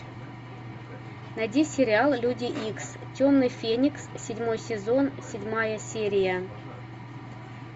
найди сериал люди икс темный феникс седьмой сезон седьмая серия